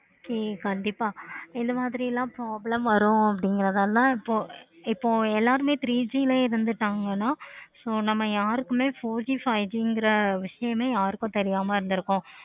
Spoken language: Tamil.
கண்டிப்பா இந்த மாதிரி எல்லாம் problem வரும். அப்டிங்கிறனாள இப்போ இப்போ எல்லாருமே three G இருந்துட்டாங்கனா so நம்ம யாருக்குமே four G five G கிரா விஷயமே யாருக்கும் தெரியாம இருந்துருக்கும்.